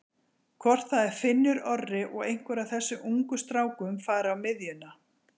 Hvort það er Finnur Orri og einhver af þessum ungu strákum fari á miðjuna?